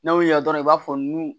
N'a y'o yira dɔrɔn i b'a fɔ nun